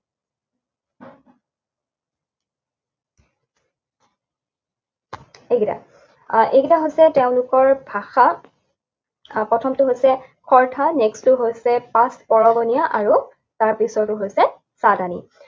এইকেইটা। আহ এইকেইটা হৈছে তেওঁলোকৰ ভাষা। প্ৰথমটো হৈছে হৰ্থা। Next টো হৈছে পাঁচকৰংগনীয়া আৰু তাৰ পিছৰটো হৈছে চাদানি।